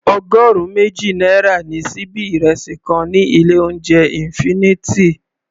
Ọgọrun méjì náírà ni síbí ìrẹsì kan ní ilé oúnjẹ infinity.